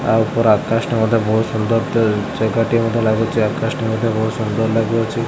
ଆ ଉପର ଆକାଶ ଟା ମଧ୍ୟ ବହୁତ୍ ସୁନ୍ଦର ତ ମଧ୍ଯ ଲାଗୁଚି ଆକାଶ ଟି ମଧ୍ୟ ବହୁତ ସୁନ୍ଦର ଲାଗୁଅଛି।